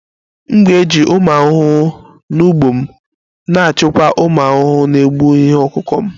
M ga-eji ụmụ ahụhụ n'ugbo m na-achịkwa ụmụ ahụhụ na-egbu ihe ọkụkụ m